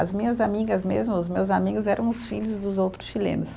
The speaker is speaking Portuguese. As minhas amigas mesmo, os meus amigos eram os filhos dos outros chilenos.